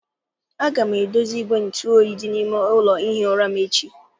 Aga m edozi igwe ntụ oyi dị n'ime ụlọ ihi ụra m echi.